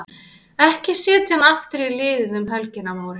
Ekki setja hann aftur í liðið um helgina Móri.